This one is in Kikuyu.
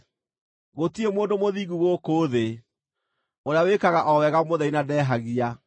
Gũtirĩ mũndũ mũthingu gũkũ thĩ, ũrĩa wĩkaga o wega mũtheri na ndehagia.